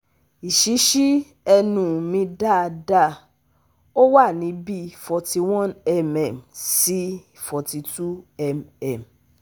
Iṣíṣi ẹnu mi dáadáa, ó wà ní bíí forty one mm- forty two mm